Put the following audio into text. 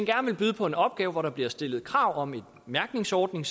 vil byde på en opgave hvor der bliver stillet krav om en mærkningsordning